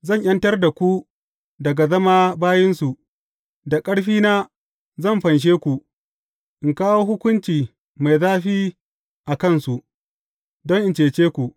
Zan ’yantar da ku daga zama bayinsu, da ƙarfina zan fanshe ku, in kawo hukunci mai zafi a kansu, don in cece ku.